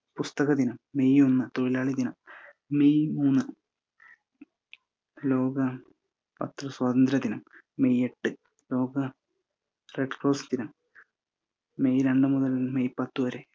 പുസ്തക ദിനം, മെയ്യ് ഒന്ന് തൊഴിലാളി ദിനം, മെയ്യ് മൂന്ന് ലോക പത്ര സ്വാതന്ത്ര്യ ദിനം, മെയ്യ് എട്ട് ലോക red cross ദിനം മെയ്യ് രണ്ട് മുതൽ പത്തുവരെ